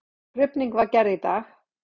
Krufning var gerð í dag.